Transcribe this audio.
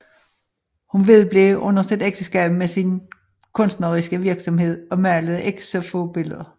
Hun vedblev under sit ægteskab med sin kunstneriske virksomhed og malede ikke få billeder